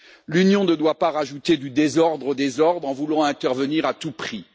L'Union ne doit pas rajouter du désordre au désordre en voulant intervenir à tout prix.